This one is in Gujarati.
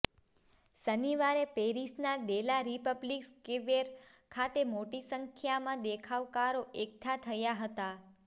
શનિવારે પેરિસના દે લા રિપબ્લિક સ્કવેર ખાતે મોટી સંખ્યામાં દેખાવકારો એકઠા થયા હતા